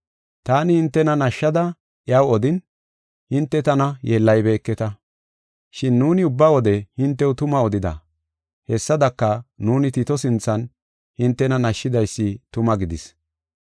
Taani hintena nashshada iyaw odin, hinte tana yeellaybeketa. Shin nuuni ubba wode hintew tuma odida; hessadaka nuuni Tito sinthan hintena nashidaysi tuma gidis.